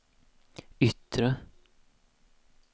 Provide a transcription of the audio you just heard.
yttre